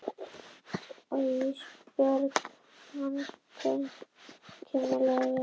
Og Ísbjörg kann þykkjunni vel.